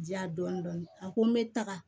Diya dɔɔnin dɔɔnin a ko n bɛ taga